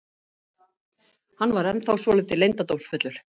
Hann er ennþá svolítið leyndardómsfullur.